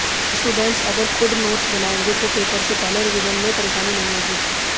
students अगर खुद notes बनाएंगे तो पेपर से पहले रिवीजन में परेशानी नहीं होगी